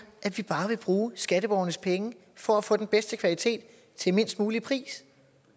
at vi bare vil bruge skatteborgernes penge for at få den bedste kvalitet til lavest mulig pris